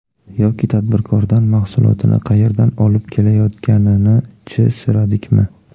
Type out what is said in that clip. Yoki tadbirkordan mahsulotini qayerdan olib kelayotganini-chi, so‘radikmi?